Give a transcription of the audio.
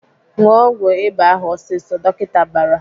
"Ṅụọ ọgwụ ịba ahụ ọsịsọ!" Dọkịta bara.